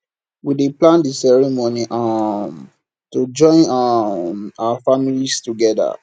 we dey plan di ceremony um to join um our families together